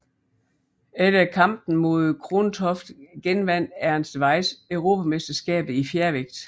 Efter kampen mod Krontoft genvandt Ernst Weiss europamesterskabet i fjervægt